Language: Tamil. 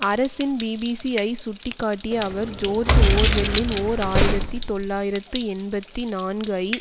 அரசின் பிபிசி ஐ சுட்டி காட்டிய அவர் ஜோர்ஜ் ஓர்வெல்லின் ஓர் ஆயிரத்தி தொள்ளாயிரத்து எண்பத்தி நான்குஐ